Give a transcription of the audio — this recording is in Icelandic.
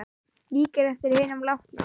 Líkir eftir hinum látna